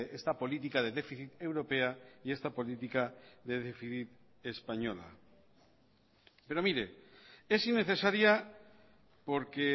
esta política de déficit europea y esta política de déficit española pero mire es innecesaria porque